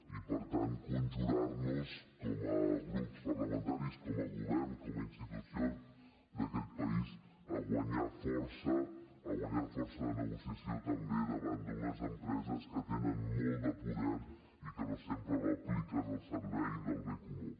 i per tant conjurar nos com a grups parlamentaris com a govern com a institucions d’aquest país a guanyar força a guanyar força de negociació també davant d’unes empreses que tenen molt de poder i que no sempre l’apliquen al servei del bé comú